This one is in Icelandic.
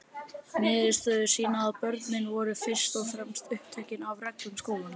Niðurstöður sýna að börnin voru fyrst og fremst upptekin af reglum skólans.